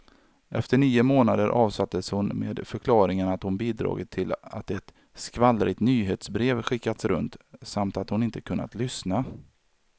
Efter nio månader avsattes hon med förklaringen att hon bidragit till att ett skvallrigt nyhetsbrev skickats runt, samt att hon inte kunnat lyssna.